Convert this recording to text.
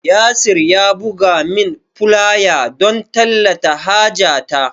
Yasir ya bugo min fulaya don tallata haja ta